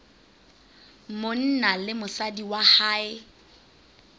monna le mosadi wa hae